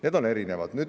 Need on erinevad.